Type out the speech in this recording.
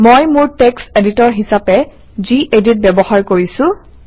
মই মোৰ text editor হিচাপে গেদিত ব্যৱহাৰ কৰিছোঁ